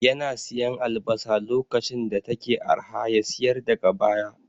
Yana siyan albasa lokacin da take arha ya siyar daga baya